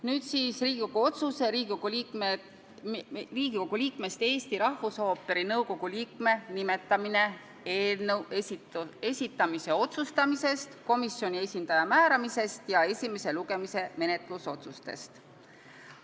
Nüüd Riigikogu otsuse "Riigikogu liikmest Eesti Rahvusooperi nõukogu liikme nimetamine" eelnõu esitamise otsustamisest, komisjoni esindaja määramisest ja esimese lugemise menetlusotsustest.